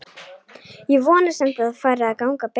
Ég vona samt að fari að ganga betur.